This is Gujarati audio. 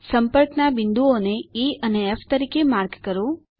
સંપર્કના બિંદુઓ ને ઇ અને ફ તરીકે માર્ક કરો